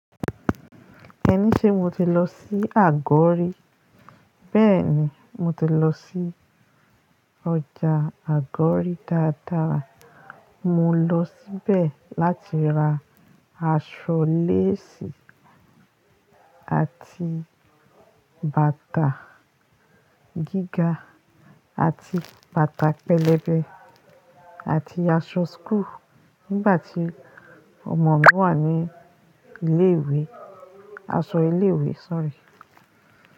Ẹni ṣé mo ti lọ sí àgọ́ rí? Bẹ́ẹ̀ni, mo ti lọ sí ọjà àgọ́ rí dáadáa. Mọ lọ síbẹ̀ láti ra aṣọ lace àti bàtà gíga àti bàtà pẹlẹbẹ àti aṣọ school nígbà tí ọmọ mi wà ní ilé ìwé, aṣọ ilé ìwé sorry.